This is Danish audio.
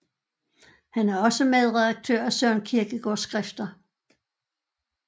Han er også medredaktør af Søren Kierkegaards Skrifter